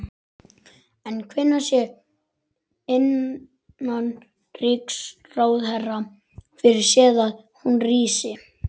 En hvenær sér innanríkisráðherra fyrir sér að hún rísi?